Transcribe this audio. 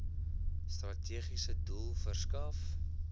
strategiese doel verskaf